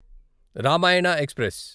Ramayana express